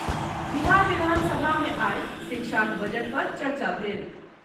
बिहार विधानसभा मे आइ शिक्षाक बजट पर चर्चा भेल।